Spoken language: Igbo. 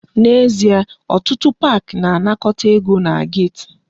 N'ezie, otụtụ park na-anakọta ego na gate.